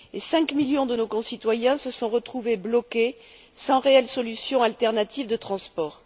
Cinq millions de nos concitoyens se sont retrouvés bloqués sans réelle solution alternative de transport.